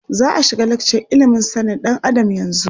Za a shiga lakcar ilimin sanin ɗan Adam yanzu.